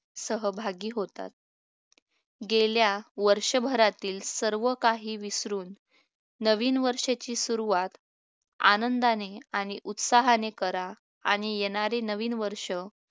सहभागी होतात गेल्या वर्षभरातील सर्व काही विसरून नवीन वर्षाची सुरुवात आनंदाने आणि उत्साहाने करा आणि येणारे नवीन वर्ष